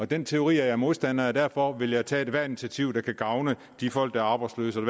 den teori er jeg modstander af og derfor vil jeg tage ethvert initiativ der kan gavne de folk der er arbejdsløse og